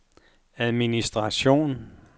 administration